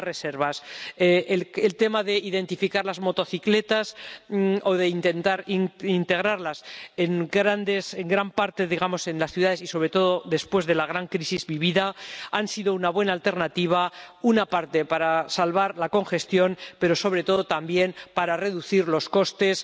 Algunas reservas identificar las motocicletas o intentar integrarlas en gran parte en las ciudades, sobre todo después de la gran crisis vivida, ha sido una buena alternativa, por una parte, para salvar la congestión, pero, sobre todo, también, para reducir los costes